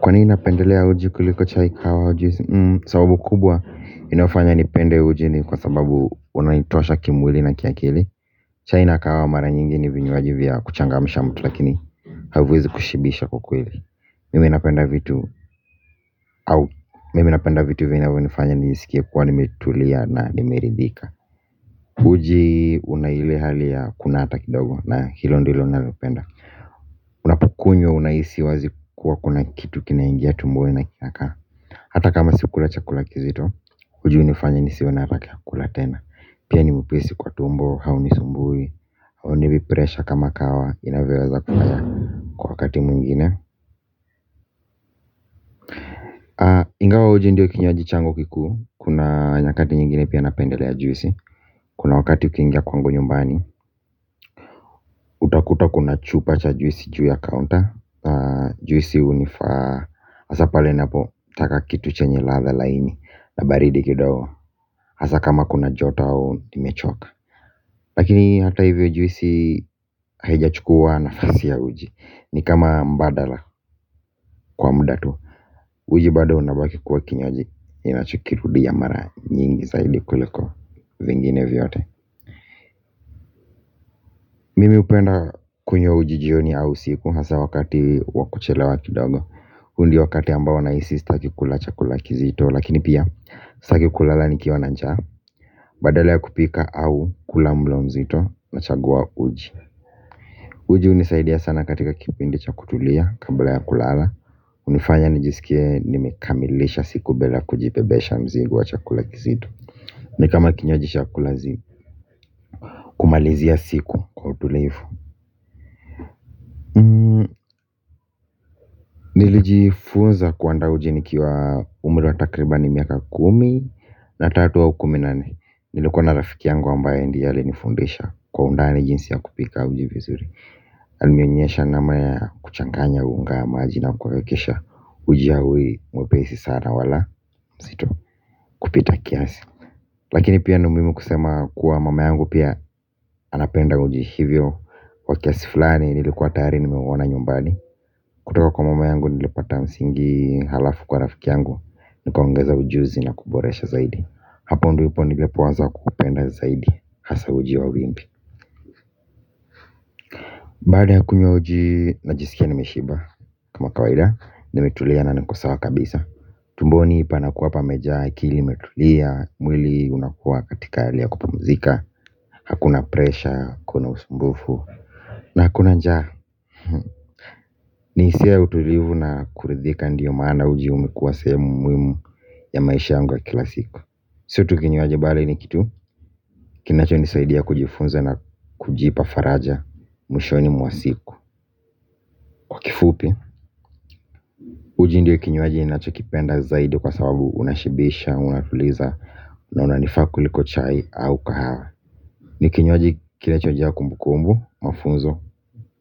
Kwa nini napendelea uji kuliko chai kahawa au juisi? Sababu kubwa inafanya nipende uji ni kwa sababu unaintosha kimwili na kiakili. Chai na kahawa mara nyingi ni vinywaji vya kuchangamisha mtu lakini haviwezi kushibisha kwa kweli. Mimi napenda vitu au mimi napenda vitu vinyavyo nifanya nijisikie kwa nimetulia na nimeridhika. Uji una hile hali ya kunata kidogo na hilo ndilo nalopenda. Unapukunywa unaisi wazi kuwa kuna kitu kinaingia tumboni na kinakaa. Hata kama sikula chakula kizito, uji unifanya nisiwe na harake ya kula tena. Pia ni mwepesi kwa tumbo, haunisumbui. Haunipi pressure kama kahawa, inavyoweza kunipa wakati mwingine. Ingawa uji ndio kinywaji changu kikuu, kuna nyakati nyingine pia napendelea juisi. Kuna wakati ukingia kwangu nyumbani, utakuta kuna chupa cha juisi juu ya kaunta. Juisi unifaa, asa pale napo, taka kitu chenye latha laini, la baridi kidao. Asa kama kuna joto au, nimechoka. Lakini hata hivyo juisi haijachukua nafasi ya uji ni kama mbadala kwa muda tu. Uji bado unabaki kwa kinywaji ninachokirudi ya mara nyingi zaidi kuliko vingine vyote. Mimi upenda kunywa uji jioni au siku hasa wakati wa kuchelewa kidogo. Undio wakati ambao nahisi staki kula chakula kizito lakini pia staki kulala nikiwa na njaa. Badala ya kupika au kula mlo mzito nachagua uji. Uji unisaidia sana katika kipindi cha kutulia kabla ya kulala. Unifanya nijisikia nimekamilesha siku bila kujibebesha mzigo wa chakula kizito. Nikama kinywaji sha kulazimu. Malizia siku kwa utulifu. Nilijifunza kuanda uji nikiwa umri wa takribani miaka kumi na tatu au kumi nne. Nilikuwa na rafiki yangu ambaye ndie alinifundisha kwa undani jinsi ya kupika uji vizuri. Alinionyesha namna ya kuchanganya unga ya maji na kuwekesha uji ahui mwepesi sana wala mzito kupita kiasi. Lakini pia ni muhimu kusema kuwa mama yangu pia anapenda uji hivyo kwa kiasi fulani nilikuwa tayari nimeuona nyumbani. Kutoka kwa mama yangu nilipata msingi halafu kwa nafiki yangu nikoongeza ujuzi na kuboresha zaidi. Hapo ndipo nilipo anza kupenda zaidi hasa uji wa wimbi. Mbali ya kunywa uji najisikia ni mishiba. Kama kawaida nimetulia na niko sawa kabisa. Tumboni panakuwa pamejaa akili imetulea. Mwili unakua katika hali ya kupamuzika. Hakuna presha, hakuna usumbufu. Na hakuna njaa. Nihisia utulivu na kuridhika ndiyo maana ujiu umekuwa sehemu muhimu ya maisha yangu wa kila siku. Si tu kinywaji bali ni kitu kinacho nisaidia kujifunza na kujipa faraja. Mwishoni mwa siku. Kifupi. Uji ndio kinywaji ninacho kipenda zaidi kwa sababu unashibisha. Unatuliza na unanifaa kuliko chai au kahawa. Nikinywaji kinachojaa kumbu kumbu, mafunzo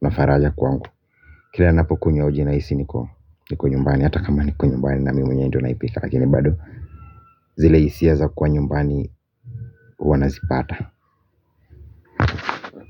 na faraja kwangu. Kila ninapokunywa uji naisi niko nyumbani, hata kama niko nyumbani na mimi mwenyewe ndo naipika. Lakini bado zile isia za kuwa nyumbani huwa nazipata.